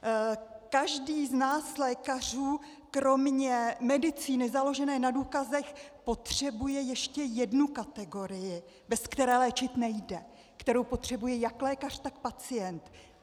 Každý z nás lékařů kromě medicíny založené na důkazech potřebuje ještě jednu kategorii, bez které léčit nejde, kterou potřebuje jak lékař, tak pacient.